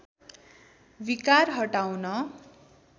विकार हटाउन